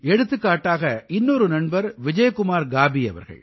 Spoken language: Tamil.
எடுத்துக்காட்டாக இன்னொரு நண்பர் விஜய்குமார் காபீ அவர்கள்